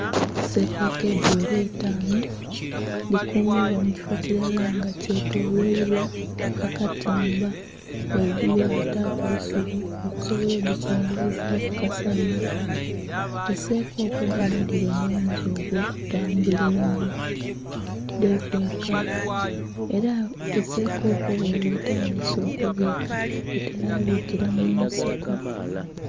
Sekoko edhighela eitaanhu dhikuumibwa mu kifo kilala nga kyetoloilwa akatimba, ghaigulu baataku eisubi okusobola odhikingiliza ku kasanha. Esekoko ndhino dhiba nh'omuze ogw'okutambula einho, dhekweka. Ela esekoko bweeba etandhise okubiika etela biikila mu nsiko.